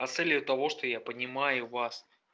а с целью того что я понимаю вас